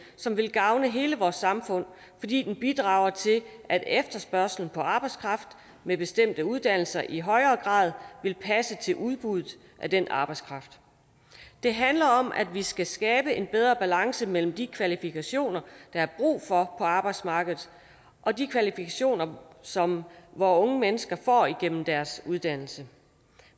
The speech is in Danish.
som vil gavne hele vores samfund fordi den bidrager til at efterspørgslen på arbejdskraft med bestemte uddannelser i højere grad vil passe til udbuddet af den arbejdskraft det handler om at vi skal skabe en bedre balance mellem de kvalifikationer der er brug for på arbejdsmarkedet og de kvalifikationer som vore unge mennesker får igennem deres uddannelse